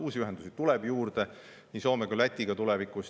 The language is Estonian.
Uusi ühendusi tuleb tulevikus juurde nii Soome kui Lätiga.